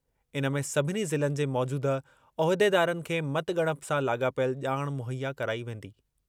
इन में सभिनी ज़िलनि जे मौजूदह उहिदेदारनि खे मतॻणप सां लाॻापियल ॼाण मुहैया कराई वेंदी।